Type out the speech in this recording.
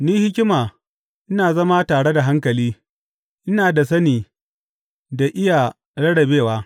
Ni, hikima, ina zama tare da hankali; ina da sani da iya rarrabewa.